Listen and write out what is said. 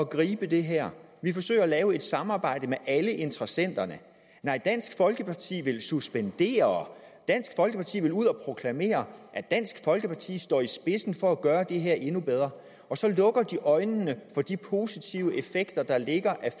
gribe det her vi forsøger at lave et samarbejde med alle interessenterne nej dansk folkeparti vil suspendere dansk folkeparti vil ud at proklamere at dansk folkeparti står i spidsen for at gøre det her endnu bedre og så lukker dansk øjnene for de positive effekter der er af